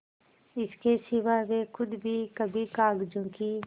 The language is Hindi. इसके सिवा वे खुद भी कभी कागजों की